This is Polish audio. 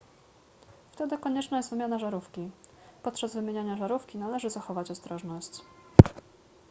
wtedy konieczna jest wymiana żarówki podczas wymieniania żarówki należy zachować ostrożność